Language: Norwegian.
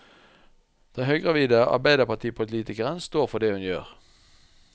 Den høygravide arbeiderpartipolitikeren står for det hun gjør.